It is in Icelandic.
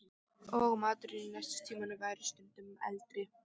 Og maturinn í nestistímunum væri stundum eldri.